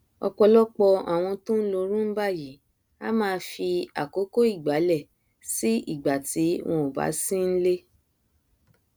ọpọlọpọ àwọn tó nlo roomba yìí a máa fi àkókò ìgbálẹ sí ìgbà tí wọn ò bá sí nlé